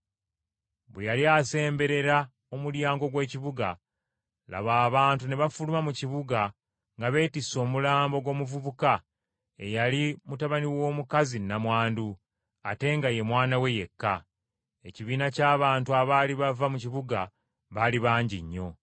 Bwe yali asemberera omulyango gw’ekibuga, laba, abantu ne bafuluma mu kibuga nga beettisse omulambo gw’omuvubuka eyali mutabani w’omukazi nnamwandu, ate nga ye mwana we yekka. Ekibiina ky’abantu abaali bava mu kibuga baali bangi nnyo.